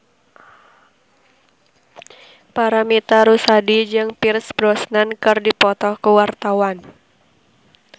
Paramitha Rusady jeung Pierce Brosnan keur dipoto ku wartawan